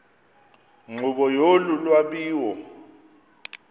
nkqubo yolu lwabiwo